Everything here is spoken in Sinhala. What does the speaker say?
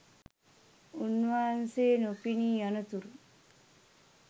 උන්වහන්සේ නොපෙනී යනතුරු